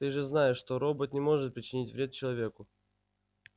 ты же знаешь что робот не может причинить вред человеку